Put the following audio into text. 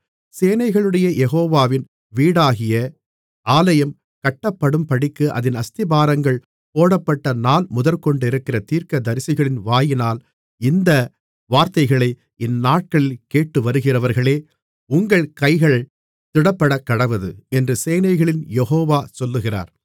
சேனைகளுடைய யெகோவாவின் வீடாகிய ஆலயம் கட்டப்படும்படிக்கு அதின் அஸ்திபாரங்கள் போடப்பட்ட நாள்முதற்கொண்டிருக்கிற தீர்க்கதரிசிகளின் வாயினால் இந்த வார்த்தைகளை இந்நாட்களில் கேட்டுவருகிறவர்களே உங்கள் கைகள் திடப்படக்கடவது என்று சேனைகளின் யெகோவா சொல்லுகிறார்